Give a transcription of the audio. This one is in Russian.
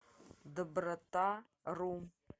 добротару